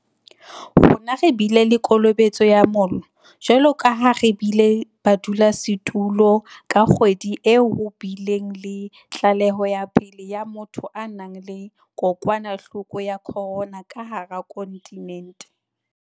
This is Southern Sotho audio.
Rona re bile le kolobetso ya mollo, jwalo ka ha re bile badulasetulo ka kgwedi e ho bileng le tlaleho ya pele ya motho a nang le kokwanahloko ya corona ka hara kontinente.